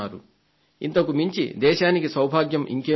ఇంతకుమించి దేశానికి సౌభాగ్యం ఇంకేముంటుంది